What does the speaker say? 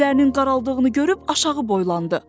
O gözlərinin qaraldığını görüb aşağı boylandı.